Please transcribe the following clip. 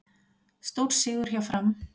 Stórsigur hjá Fram